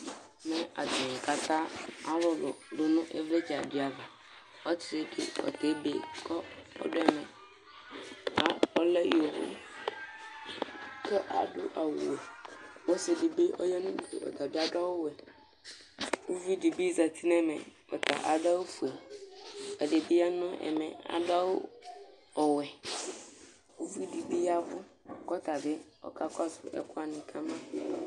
Ɛmɛ atanɩ kata alʋlʋ dʋ nʋ ɩvlɩtsɛ dɩ ava Ɔsɩ dɩ ɔta ebe kʋ ɔdʋ ɛmɛ A ɔlɛ iɣoviu kʋ adʋ awʋwɛ Ɔsɩ dɩ bɩ ɔya nʋ udu, ɔta bɩ adʋ awʋwɛ Uvi dɩ bɩ zati nʋ ɛmɛ ɔta adʋ awʋfue Ɛdɩ bɩ ya nʋ ɛmɛ adʋ awʋ ɔwɛ Uvi dɩ bɩ ya ɛvʋ kʋ ɔta bɩ ɔkakɔsʋ ɛkʋ wanɩ ka ma